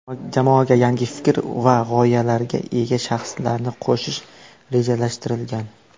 Jamoaga yangi fikr va g‘oyalarga ega shaxslarni qo‘shish rejalashtirilgan.